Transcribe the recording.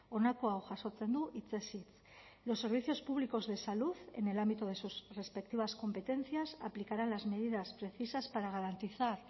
honako hau jasotzen du hitzez hitz los servicios públicos de salud en el ámbito de sus respectivas competencias aplicarán las medidas precisas para garantizar